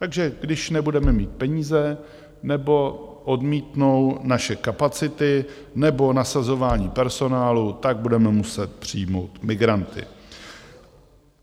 Takže když nebudeme mít peníze nebo odmítnou naše kapacity nebo nasazování personálu, tak budeme muset přijmout migranty.